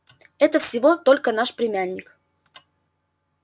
это всего только наш племянник